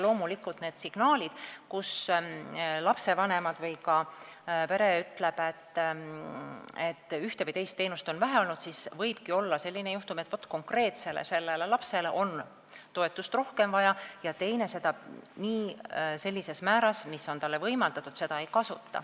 Loomulikult, kui on signaalid, kui lastevanemad või pered ütlevad, et ühte või teist teenust on vähe olnud, siis võibki olla selline juhtum, et konkreetselt sellele lapsele on toetust rohkem vaja ja teine ei kasuta seda sellises määras, mis on talle võimaldatud.